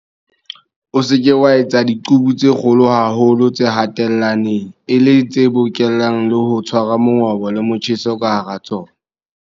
O se ke wa etsa diqubu tse kgolo haholo tse hatellaneng, e leng tse bokellang le ho tshwara mongobo le motjheso ka hara tsona.